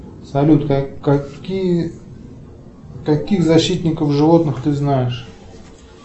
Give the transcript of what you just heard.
салют какие каких защитников животных ты знаешь